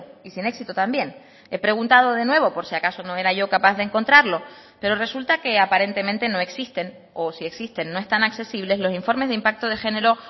y sin éxito también he preguntado de nuevo por si acaso no era yo capaz de encontrarlo pero resulta que aparentemente no existen o si existen no están accesibles los informes de impacto de género